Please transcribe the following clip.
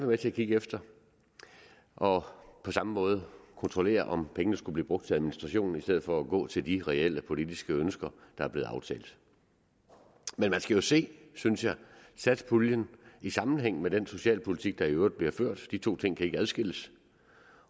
med til at kigge efter og på samme måde kontrollere om pengene skulle blive brugt til administration i stedet for at gå til de reelle politiske ønsker der er blevet aftalt men man skal jo se synes jeg satspuljen i sammenhæng med den socialpolitik der i øvrigt bliver ført de to ting kan ikke adskilles